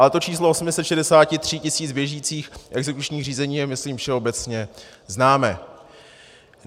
Ale to číslo 863 tisíc běžících exekučních řízení je myslím všeobecně známé.